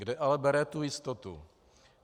Kde ale bere tu jistotu?